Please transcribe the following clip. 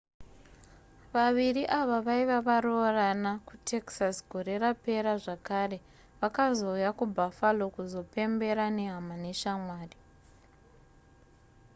vaviri ava vaiva varoorana kutexas gore rapera zvakare vakazouya kubuffalo kuzopembera nehama neshamwari